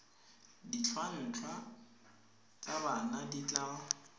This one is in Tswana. ditlhwatlhwa tsa bana di tla